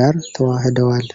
ጋር ተዋህደዋል።